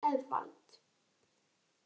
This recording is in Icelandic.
Eðvald